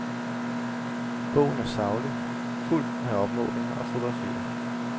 Bogen er saglig, fuldt med opmålinger og fotografier.